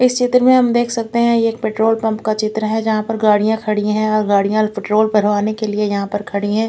इस चित्र में हम देख सकते है ये एक पेट्रोल पम्प का चित्र है जहाँ पर गाडिया खड़ी है और गाडिया पेट्रोल भरवाने के लिए यहाँ पर खड़ी है।